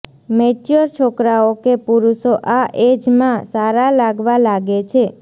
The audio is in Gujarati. મૅચ્યોર છોકરાઓ કે પુરુષો આ એજમાં સારાં લાગવા લાગે છે